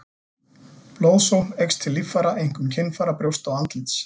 Blóðsókn eykst til líffæra, einkum kynfæra, brjósta og andlits.